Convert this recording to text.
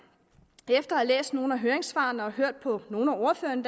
efter at have læst nogle af høringssvarene og hørt på nogle af ordførerne